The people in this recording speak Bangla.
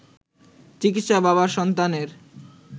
চিকিৎসক বাবার সন্তানের